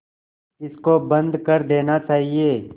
इसको बंद कर देना चाहिए